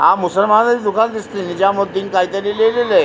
हा मुसलमाना चा दुकान दिसतोय ज्या वरती कायतरी लिहलेलेय.